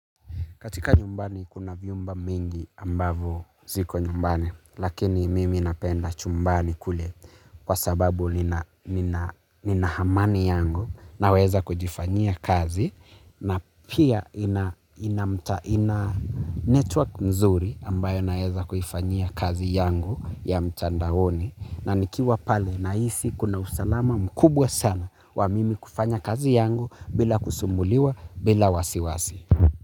Katika nyumbani kuna vyumba mingi ambazo ziko nyumbani, lakini mimi napenda chumbani kule kwa sababu nina amani yangu naweza kujifanyia kazi na pia ina mta ina network nzuri ambayo naweza kuifanyia kazi yangu ya mtandaoni na nikiwa pale nahisi kuna usalama mkubwa sana wa mimi kufanya kazi yangu bila kusumbuliwa bila wasiwasi.